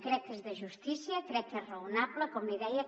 crec que és de justícia crec que és raonable com li deia